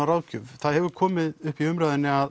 ráðgjöf það hefur komið upp í umræðunni að